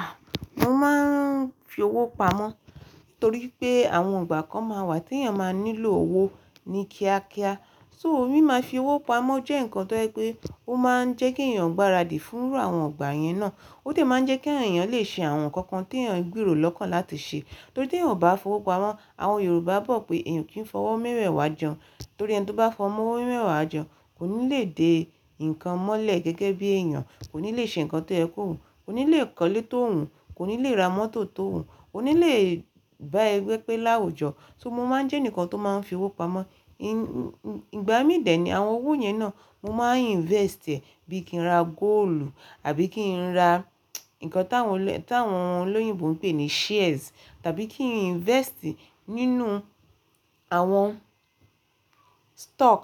A! Mo máa ń fi owó pamọ́ nítorí pé àwọn ìgbà kan máa wà tí èèyàn máa nílò owó ní kíá kíá. So rí máa fi owó pamọ́ jẹ́ ǹkan tó ń jẹ́ pé ó máa ń jẹ́ kí èèyàn gbaradi fúnrú àwọn ìgbà yẹn náà. Ó tẹ̀ máa ń jẹ́ kí àwọn èèyàn lè ṣe àwọn ǹkan kan tí èèyàn gbèrò lọ́kàn láti ṣe. Torí tí èèyàn ò bá fi owó pamọ́, àwọn Yorùbá bọ́ pé èèyàn kì í f'ọwọ́ mẹ́wẹ̀wa jẹ hun, torí ẹni tí ó bá fọmọ owó mẹ́wẹ̀wá jẹ hún kò ní lè dé ǹkan mọ́lẹ̀ gẹ́gẹ́ bí èèyàn, kò ní lè ṣe ǹkan tó yẹ kó wùn, kò ní lè kọ́lé tó wùn, kò ní lè ra mọ́tò tó wùn, kò ní lè bá ẹgbẹ́ pé láwùjọ. So mo má ń jẹ́ ẹnìkan tó máa ń fi owó pamọ́. Ìgbà mí dè é ní àwọn owó yẹn náà, mo máa ń invest ẹ̀ bí i kí n ra góòlù àbí kí n ra ǹkan tí àwọn olóyìnbo ń pè ní shares, tàbí kí n invest nínú àwọn stock